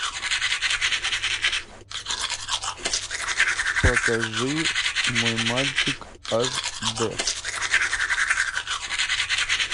покажи мой мальчик аш д